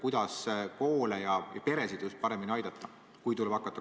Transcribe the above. Kuidas koole ja peresid siis paremini aidata?